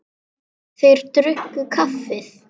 Þeir drukku kaffið.